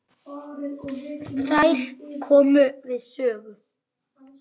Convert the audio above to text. Þær komu við sögu.